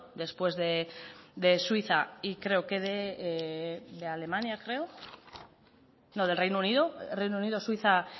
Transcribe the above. después de suiza y creo que de alemania no del reino unido reino unido suiza